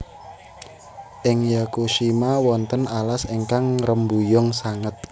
Ing Yakushima wonten alas ingkang ngrembuyung sanget